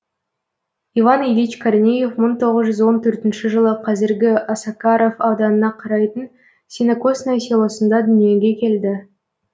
иван ильич корнеев мың тоғыз жүз он тоғызыншы жылы қазіргі осакаров ауданына қарайтын сенокосное селосында дүниеге келді